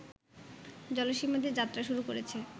জলসীমা দিয়ে যাত্রা শুরু করেছে